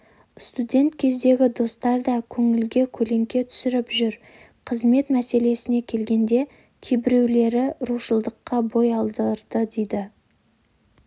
студент кездегі достар да көңілге көлеңке түсіріп жүр қызмет мәселесіне келгенде кейбіреулері рушылдыққа бой алдырды дейді